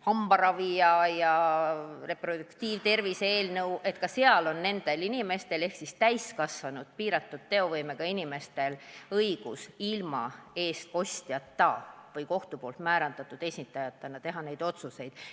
hambaravi ja reproduktiivtervist, on täiskasvanud piiratud teovõimega inimestel õigus ilma eestkostjata või kohtu määratud esindajata neid otsuseid teha.